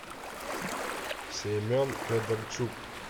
семен федорчук